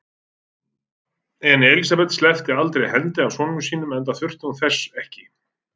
En Elsabet sleppti aldrei hendinni af sonum sínum, enda þurfti hún þess ekki.